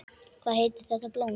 Hvað heitir þetta blóm?